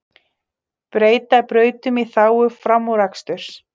Breyta brautum í þágu framúraksturs